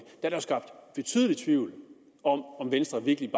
er skabt betydelig tvivl om om venstre virkelig